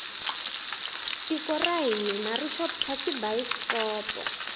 tiko ra hina ri xota tibayisikopo